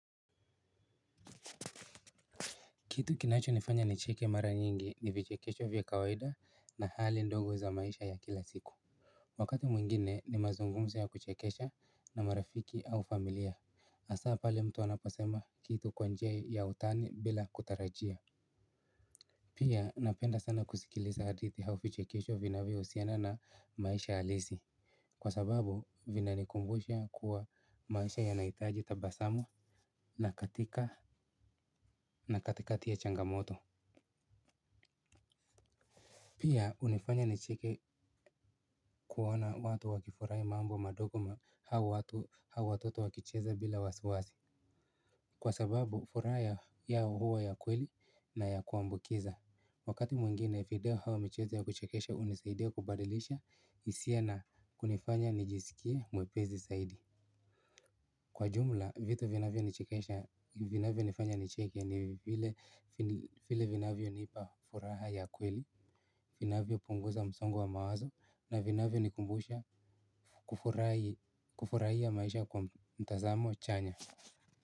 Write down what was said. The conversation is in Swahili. Kitu kinachonifanya nicheke mara nyingi ni vichekesho vya kawaida na hali ndogo za maisha ya kila siku. Wakati mwingine ni mazungumzo ya kuchekesha na marafiki au familia hasa pale mtu anaposema kitu kwa njia ya utani bila kutarajia. Pia napenda sana kusikiliza hadithi au vichekesho vinavyohusiana na maisha halisi. Kwa sababu vinanikumbusha kuwa maisha yanahitaji tabasamu na katika na katikati ya changamoto. Pia hunifanya nicheke kuwaona watu wakifurahi mambo madogo au watu au watoto wakicheza bila wasiwasi. Kwa sababu furaha yao huwa ya kweli na ya kuambukiza. Wakati mwingine video au michezo ya kuchekesha hunisaidia kubadilisha hisia na kunifanya nijisikie mwepesi zaidi. Kwa jumla vitu vinavyonifanya nicheke ni vile vinavyonipa furaha ya kweli. Vinavyo punguza msongo wa mawazo na vinavyonikumbusha kufurahia maisha kwa mtazamo chanya.